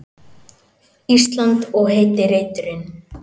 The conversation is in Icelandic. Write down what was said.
Ísland og heiti reiturinn.